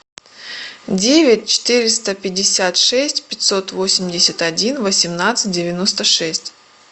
девять четыреста пятьдесят шесть пятьсот восемьдесят один восемнадцать девяносто шесть